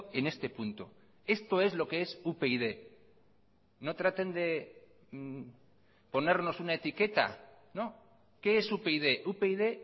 en este punto esto es lo qué es upyd no traten de ponernos una etiqueta qué es upyd upyd